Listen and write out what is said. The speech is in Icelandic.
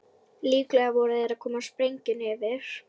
Líklega voru þær að koma sprengjunni fyrir.